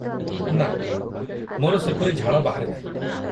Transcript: ନା, ମୋର ସେପରି ଝାଳ ବାହାରେ ନାହିଁ।